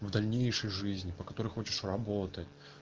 в дальнейшей жизни по которой хочешь работать